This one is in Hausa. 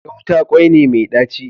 Gauta kwai ne mai ɗaci